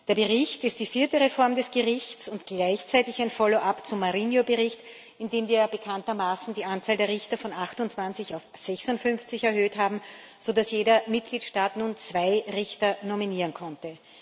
Der Bericht ist die vierte Reform des Gerichts und gleichzeitig ein Follow up zum Bericht Marinho e Pinto, in dem wir ja bekanntermaßen die Anzahl der Richter von 28 auf 56 erhöht haben, sodass jeder Mitgliedstaat nun zwei Richter nominieren konnte.